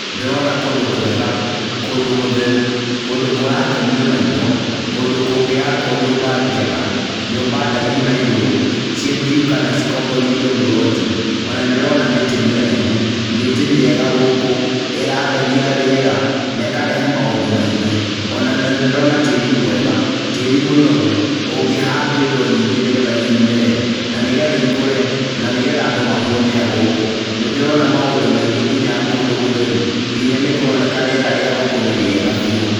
Ndĩrona kũndũ kwega, kũndũ gũtheru, kũndũ kũrakenia maitho, kũndũ kũngĩakwo nyũmba njega, nyũmba ndaihu na igũrũ, ciendio kana cikomborithio mburoti,o na nĩ ndĩrona mĩtĩ mĩraihu, mĩtĩ mĩega gũkũ, ĩratheria rĩera na ĩkarehe maũndũ maingĩ,o na nĩ ndĩrona tĩĩri mwega, tĩĩri mũnoru ũngĩhandwo indo nyingĩ nĩ getha imere na nĩ getha ikũre, na nĩ getha andũ mahũũne a gũkũ. Nĩ ndĩrona maũndũ maingĩ nginya kũndũ gũtheru, nginya nĩ kũroneka rĩera rĩa gũkũ nĩ rĩega biũ.